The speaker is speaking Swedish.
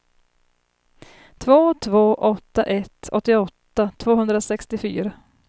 två två åtta ett åttioåtta tvåhundrasextiofyra